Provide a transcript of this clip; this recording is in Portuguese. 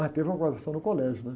Mas teve uma no colégio, né?